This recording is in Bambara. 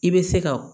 I bɛ se ka